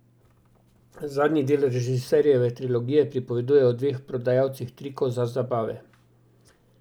Zadnji del režiserjeve trilogije pripoveduje o dveh prodajalcih trikov za zabave.